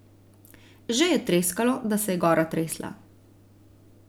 Že je treskalo, da se je gora tresla.